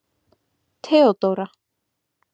Theódóra